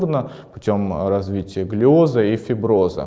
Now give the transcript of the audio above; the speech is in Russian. почём развитие глиоза и фибры